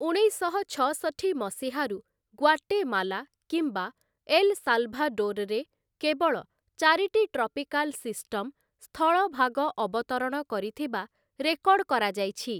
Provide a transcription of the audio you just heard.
ଉଣେଇଶଶହ ଛଅଷଠି ମସିହାରୁ ଗ୍ୱାଟେମାଲା କିମ୍ବା ଏଲ୍‌ସାଲ୍‌ଭାଡୋର୍‌ରେ କେବଳ ଚାରିଟି ଟ୍ରପିକାଲ୍ ସିଷ୍ଟମ୍‌ ସ୍ଥଳଭାଗ ଅବତରଣ କରିଥିବା ରେକର୍ଡ଼ କରାଯାଇଛି ।